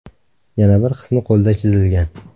Yana bir qismi qo‘lda chizilgan.